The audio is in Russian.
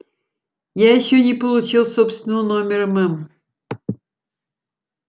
я ещё не получил собственного номера мэм